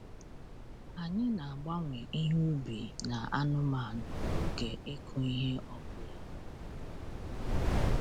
Anyị na-agbanwe ihe ubi na anụmanụ n’oge ịkụ ihe ọ bụla.